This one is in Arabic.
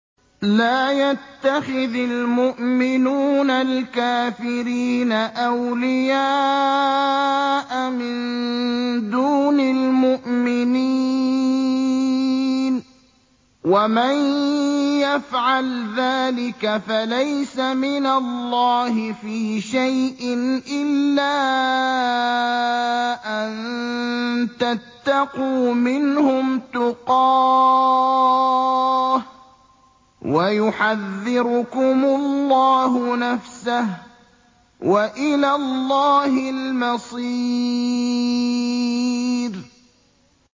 لَّا يَتَّخِذِ الْمُؤْمِنُونَ الْكَافِرِينَ أَوْلِيَاءَ مِن دُونِ الْمُؤْمِنِينَ ۖ وَمَن يَفْعَلْ ذَٰلِكَ فَلَيْسَ مِنَ اللَّهِ فِي شَيْءٍ إِلَّا أَن تَتَّقُوا مِنْهُمْ تُقَاةً ۗ وَيُحَذِّرُكُمُ اللَّهُ نَفْسَهُ ۗ وَإِلَى اللَّهِ الْمَصِيرُ